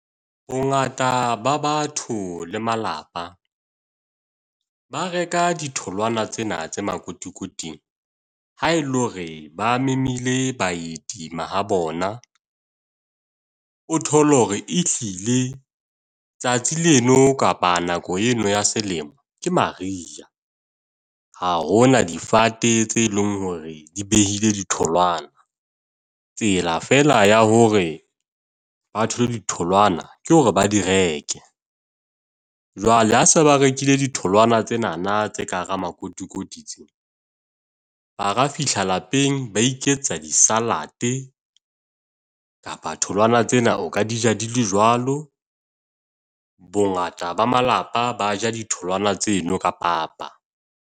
Bongata ba batho le malapa. Ba reka ditholwana tsena tse makotikoting. Ha e le hore ba memile baeti ma ha bona. O thole hore e ehlile, tsatsi leno kapa nako eno ya selemo ke Mariha. Ha hona difate tse eleng hore di behile ditholwana. Tsela fela ya hore ba thole ditholwana, ke hore ba di reke. Jwale ha se ba rekile ditholwana tsenana tse ka hara makotikoti tse. Ba ka fihla lapeng ba iketsa di-salad kapa ditholwana tsena, o ka di ja di le jwalo. Bongata ba malapa ba ja ditholwana tseno ka papa.